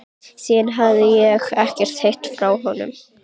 Síðan hefi ég ekkert heyrt frá honum.